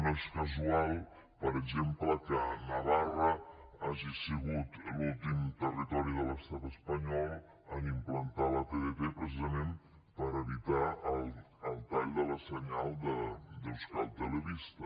no és casual per exemple que navarra hagi sigut l’últim territori de l’estat espanyol a implantar la tdt precisament per evitar el tall del senyal d’euskal telebista